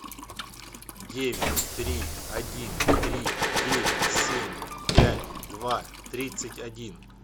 девять три один три девять семь пять два тридцать один